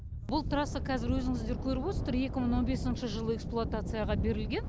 бұл трасса қазір өзіңіздер көріп отырсыздар екі мың он бесінші жылы эксплуатацияға берілген